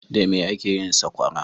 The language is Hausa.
Da mai ake yin saƙwara?